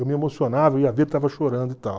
Eu me emocionava, ia ver estava chorando e tal.